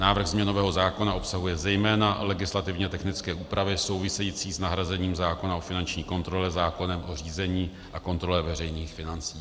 Návrh změnového zákona obsahuje zejména legislativně technické úpravy související s nahrazením zákona o finanční kontrole zákonem o řízení a kontrole veřejných financí.